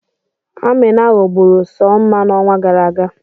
Amina ghọgburu Soma n'ọnwa gara aga.